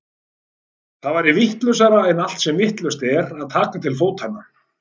Það væri vitlausara en allt sem vitlaust er að taka til fótanna.